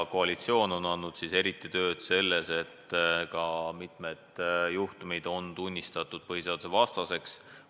Koalitsiooni panus selles töös on kaasa toonud selle, et mitmed juhtumid on tunnistatud põhiseadust rikkuvaks.